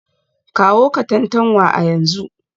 Kawo Katantanwa a yanzu